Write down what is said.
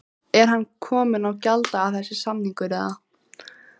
Er hann kominn á gjalddaga þessi samningur eða?